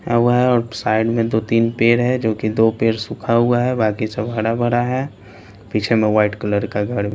हुआ है और साइड में दो-तीन पेड है जो कि दो पेड सूखा हुआ हैबाकी सब हरा भरा है पीछे में वाइट कलर का घर --